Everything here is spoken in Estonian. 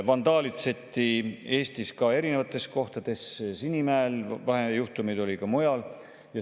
Vandaalitseti Eesti erinevates kohtades: Sinimäel, vahejuhtumeid oli ka mujal.